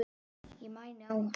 Ég mæni á hann.